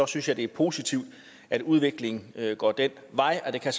synes jeg det er positivt at udviklingen går den vej det kan